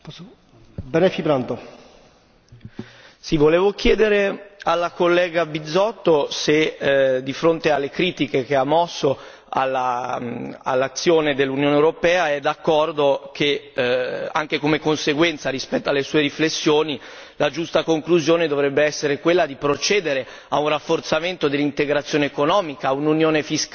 Volevo chiedere alla collega Bizzotto se, di fronte alle critiche che ha mosso all'azione dell'Unione europea, è d'accordo che, anche come conseguenza rispetto alle sue riflessioni, la giusta conclusione dovrebbe essere quella di procedere a un rafforzamento dell'integrazione economica, a un'unione fiscale piena e, quindi, penso a un rafforzamento